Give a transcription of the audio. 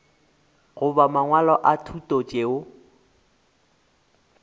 goba mangwalo a thuto tšeo